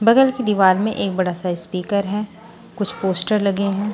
बगल की दीवार में एक बड़ा सा स्पीकर है कुछ पोस्टर लगे हैं।